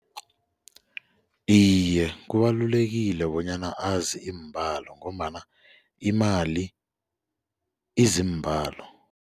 Iye, kubalulekile bonyana azi iimbalo ngombana imali izimbalo.